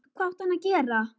Hvað átti hann að gera?